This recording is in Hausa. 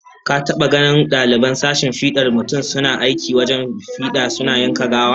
Ka taba ganin daliban sashen fidar mutum suna aikin gwajin fida suna yanka gawa?